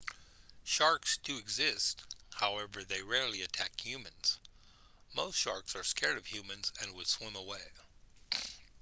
sharks do exist however they rarely attack humans most sharks are scared of humans and would swim away